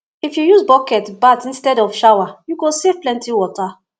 if you use bucket bath instead of shower you go save plenty water